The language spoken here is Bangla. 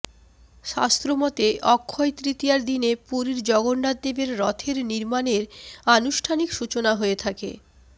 শাস্ত্রমতে অক্ষয় তৃতীয়ার দিনে পুরীর জগন্নাথদেবের রথের নির্মাণের আনুষ্ঠানিক সূচনা হয়ে থাকে